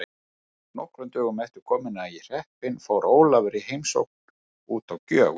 Nokkrum dögum eftir komuna í hreppinn fór Ólafur í heimsókn út á Gjögur.